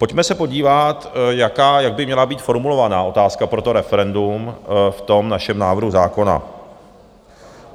Pojďme se podívat, jak by měla být formulovaná otázka pro to referendum v tom našem návrhu zákona.